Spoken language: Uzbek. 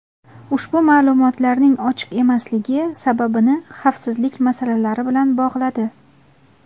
ushbu ma’lumotlarning ochiq emasligi sababini xavfsizlik masalalari bilan bog‘ladi.